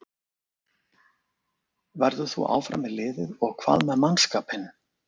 Verður þú áfram með liðið og hvað með mannskapinn?